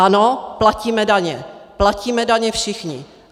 Ano, platíme daně, platíme daně všichni.